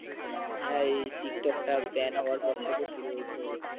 হ্যাঁ এই TikTok ban হবার পর থেকে শুরু হয়েছে,